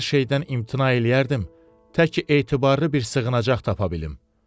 Hər şeydən imtina eləyərdim, təki etibarlı bir sığınacaq tapa bilim.